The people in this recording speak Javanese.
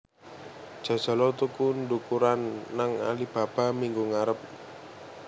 Jajal o tuku ndukuran nang Alibaba minggu ngarep